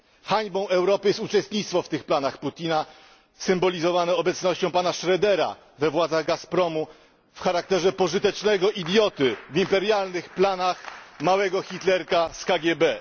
Hańbą Europy jest uczestnictwo w tych planach Putina symbolizowane obecnością pana Schrödera we władzach Gazpromu w charakterze pożytecznego idioty w imperialnych planach małego Hitlerka z KGB.